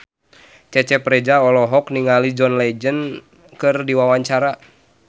Cecep Reza olohok ningali John Legend keur diwawancara